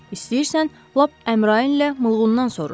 İstəyirsən, lap Əmran ilə Mılğundan soruş.